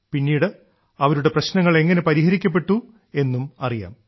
പിന്നീട് അവരുടെ പ്രശ്നങ്ങൾ എങ്ങനെ പരിഹരിക്കപ്പെട്ടു എന്നും അറിയാം